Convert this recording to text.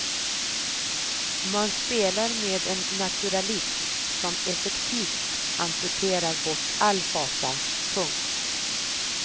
Man spelar med en naturalism som effektivt amputerar bort all fasa. punkt